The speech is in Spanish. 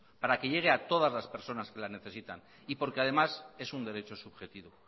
para que llegue a todas las personas que la necesitan y porque además es un derecho subjetivo